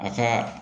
A ka